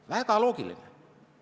Väga loogiline!